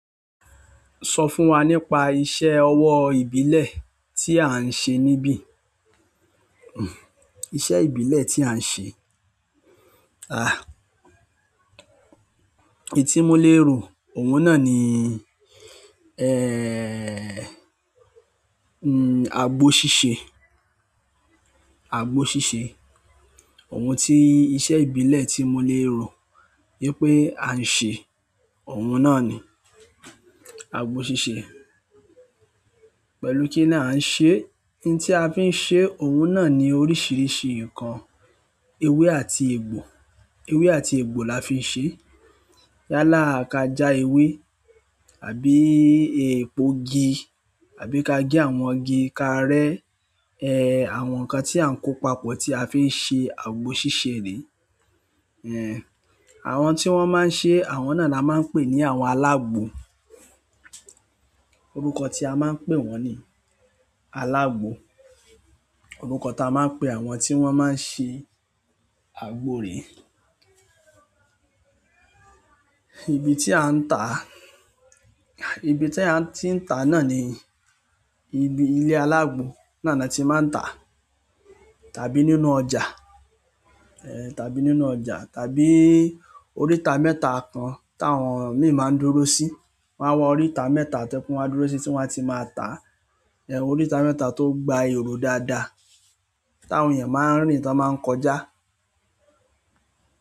Sọ fún wa nípa iṣẹ́ ọwọ́ ìbílẹ̀ tí à ń ṣe níbí. Iṣẹ́ ìbílẹ̀ tí à ń ṣe, à, èyí tí mo lé ro, òun náà ni, ẹẹ́, abgọ́ ṣíṣe, agbọ́ ṣíṣe. Òun ti iṣẹ́ ìbílẹ̀ tí mo lé ro yípé a ń ṣe òun náà ni agbọ́ ṣíṣe. Pẹ̀lú kí ni a ń ṣe? Ohun tí a fi ń ṣe òun náà ni oríṣiríṣi nǹkan. Ewé àti egbò, ewé àti egbò la fi ń ṣe. Yálà ka já ewé àbí epogi, àbí ka gé àwọn igi, kaa rẹ́ ẹ́ àwọn nǹkan tí à ń kó papọ̀ tí a fi ń ṣe agbọ́ ṣíṣe rí. Ẹ̀, àwọn tí wọ́n máa ń ṣe e àwọn náà ni a máa ń pè ní àwọn alágbo. Orúkọ tí a máa ń pè wọ́n ni alágbo. Orúkọ ta maa n pe àwọn ti won maa n se agbo ree. Ibi tí a ń tà á, ibi tí a ti ń tà a náà ni ibi ilé alágbo. Náà na ti maa n ta a, tàbí nínú ọjà, ehn tàbí nínú ọjà, tàbí orita mẹ́ta kan tawon mii maa n dúró si wan wa orita mẹ́ta to je pe wan dúró si ti won a ti maa ta a, ehn orita mẹ́ta to gba ero dáadáa, tawon eeyan maa n rin ton baa n kọjá.